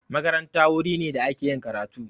Makaranta wuri ne da ake yin karatu